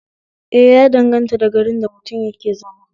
Eh ya danganta da garin da mutum yake zama